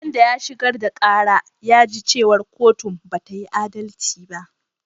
Wanda ya shigar da ƙara ya ji cewa kotun bata yi adalci ba